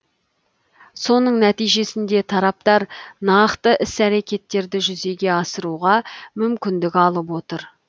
соның нәтижесінде тараптар нақты іс әрекеттерді жүзеге асыруға мүмкіндік алып отыр